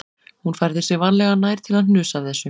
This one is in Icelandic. Hún færði sig varlega nær til að hnusa af þessu